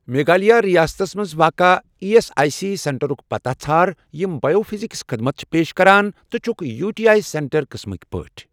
میگھالِیا رِیاستس مَنٛز واقع ایی ایس آٮٔۍ سی سینٹرُک پتاہ ژھار یِم بایو فِزِکس خدمت چھِ پیش کران تہٕ چھکھ یوٗ ٹی آی سینٹر قٕسمٕکۍ پٲٹھۍ۔